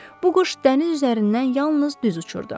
Bu quş dəniz üzərindən yalnız düz uçurdu.